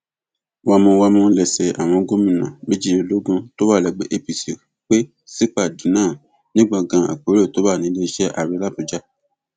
wámúwámù lẹsẹ àwọn gómìnà méjìlélógún tó wà lẹgbẹ apc pé sípàdé náà ní gbọngàn àpérò tó wà níléeṣẹ ààrẹ làbújá